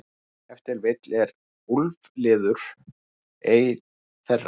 Ef til vill er úlfliður ein þeirra.